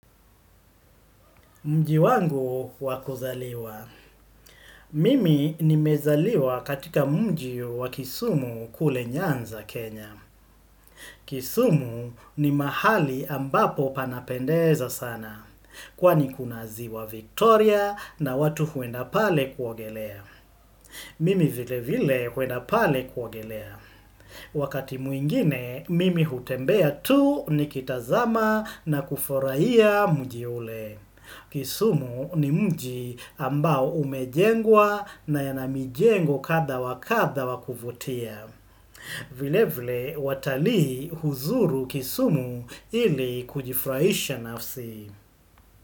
Mji wangu wa kuzaliwa. Mimi nimezaliwa katika mji wa kisumu kule nyanza Kenya. Kisumu ni mahali ambapo panapendeza sana. Kwani kuna ziwa Victoria na watu huenda pale kuogelea. Mimi vile vile huenda pale kuwagelea. Wakati mwingine, mimi hutembea tu nikitazama na kufuraia mji ule. Kisumu ni mji ambao umejengwa na yanamijengo kadha wakadha wa kuvutia. Vile vile watalii huzuru kisumu ili kujifurahisha nafsi.